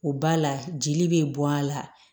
O ba la jeli bɛ bɔ a la